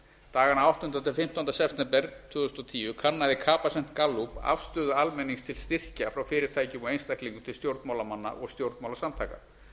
dagana áttundi til fimmtánda september tvö þúsund og tíu kannaði capacent gallup afstöðu almennings til styrkja frá fyrirtækjum og einstaklingum til stjórnmálamanna og stjórnmálasamtaka